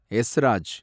எஸ்ராஜ்